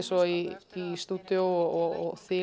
svo í stúdíó og þyl